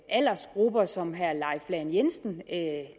aldersgrupper som herre leif lahn jensen